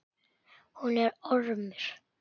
Hún er ormur.